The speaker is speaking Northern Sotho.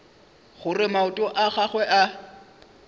gore maoto a gagwe a